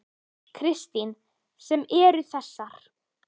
Kristín: Sem eru þessar?